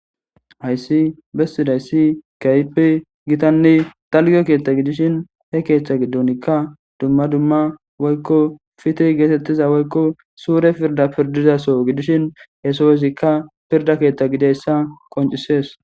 Hayissi besizasi kehippe gitanne dalga ketha gidishin he ketha gidonka duma duma woyiko fitihi getetiza woyiko sure pirda pirdida soho gidishin he sohozika pirda ketha gidizayisa qonc, ises